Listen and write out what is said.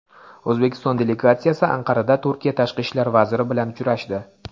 O‘zbekiston delegatsiyasi Anqarada Turkiya Tashqi ishlar vaziri bilan uchrashdi.